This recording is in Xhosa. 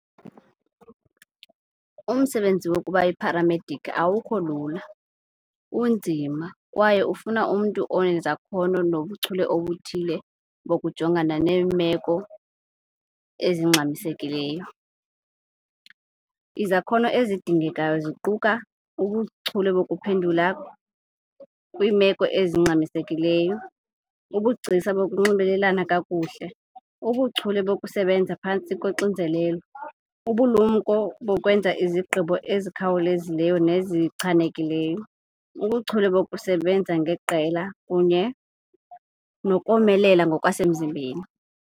Umsebenzi wokuba yipharamediki awukho lula unzima kwaye ufuna umntu onezakhono nobuchule obuthile bokujongana neemeko ezingxamisekileyo. Izakhono ezidingekayo ziquka ubuchule bokuphendula kwiimeko ezingxamisekileyo, ubugcisa bokunxibelelana kakuhle, ubuchule bokusebenza phantsi koxinzelelo, ubulumko bokwenza izigqibo ezikhawulezileyo nezichanelekileyo, ubuchule bokusebenza ngeqela kunye nokomelela ngokwasemzimbeni.